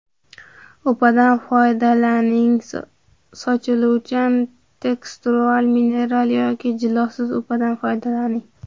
Upadan foydalaning Sochiluvchan teksturali mineralli yoki jilosiz upadan foydalaning.